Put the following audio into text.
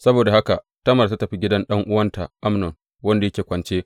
Saboda haka Tamar ta tafi gidan ɗan’uwanta Amnon, wanda yake kwance.